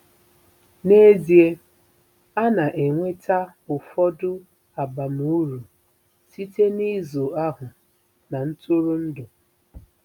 N'ezie, a na-enweta ụfọdụ abamuru site n'ịzụ ahụ́ na ntụrụndụ.